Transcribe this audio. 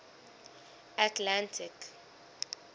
atlantic